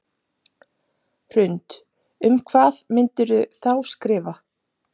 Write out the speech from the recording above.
Hrund: Um hvað myndirðu þá skrifa?